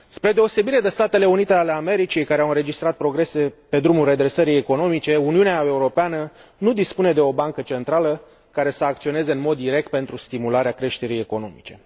Spre deosebire de Statele Unite ale Americii, care au înregistrat progrese pe drumul redresării economice, Uniunea Europeană nu dispune de o bancă centrală care să acționeze în mod direct pentru stimularea creșterii economice.